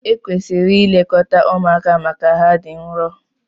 Ekwesịrị ilekọta ụmụaka maka na ha dị nrọ.